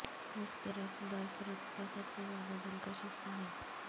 مفت رقص برف رقص کا سب سے زیادہ دلکش حصہ ہے